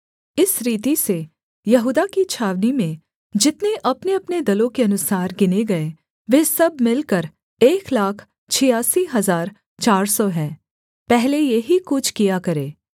इस रीति से यहूदा की छावनी में जितने अपनेअपने दलों के अनुसार गिने गए वे सब मिलकर एक लाख छियासी हजार चार सौ हैं पहले ये ही कूच किया करें